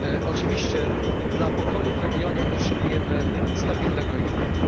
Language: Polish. Oczywiście dla pokoju w regionie potrzebujemy stabilnego Egiptu.